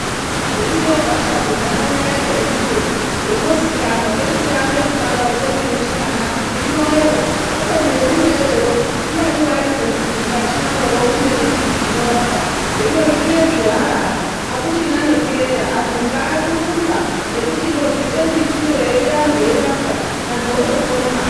Ririyo gwasha kundaraunda yekweduyo rinozikanwa ngechichaambe kubarwa chemene chimwana kuti rinoera, kubeni herinoyerero ndiani waoziye kuti mukati mwaroro mune nembiti inorapa. Hino zvinezvi hakuchina nekuera, andu kwaakurumba echindobvite mbitiyo eiuya antu eirapwa. Antu otopone.